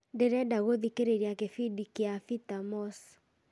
ndĩrenda gũthikĩrĩria gĩbindi kĩa peter moss